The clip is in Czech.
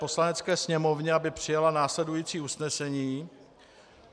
Poslanecké sněmovně, aby přijala následující usnesení: